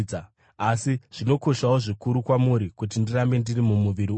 asi zvinokoshawo zvikuru kwamuri kuti ndirambe ndiri mumuviri uyu.